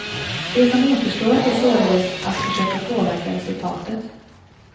Det som återstår är således att försöka påverka resultatet.